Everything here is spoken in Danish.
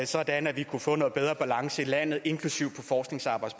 sådan at vi kunne få noget bedre balance i landet inklusive